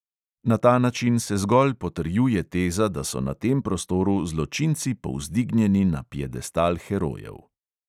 Na ta način se zgolj potrjuje teza, da so na tem prostoru zločinci povzdignjeni na piedestal herojev.